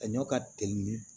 A ɲɔ ka teli